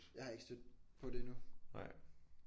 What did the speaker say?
Jeg har ikke stødt på det endnu